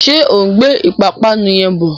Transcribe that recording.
Ṣé ó ń gbé ìpapánu yẹn bọ?